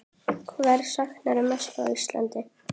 Hvers saknarðu mest frá Íslandi?